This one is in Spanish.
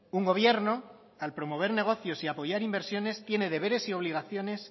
un gobierno al promover negocios y apoyar inversiones tiene deberes y obligaciones